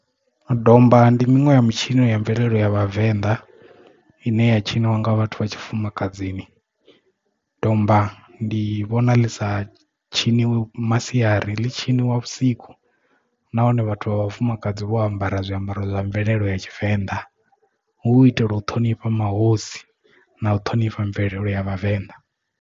Domba ndi miṅwe mitshino ya mvelele ya vhavenḓa ine ya tshiniwa nga vhathu vha tshifumakadzini. Domba ndi vhona ḽisa tshiniwi masiari ḽi tshiniwa vhusiku nahone vhathu vha vhafumakadzi vho ambara zwiambaro zwa mvelele ya tshivenḓa hu u itela u ṱhonifha mahosi na u ṱhonifha mvelele ya vhavenḓa.